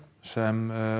sem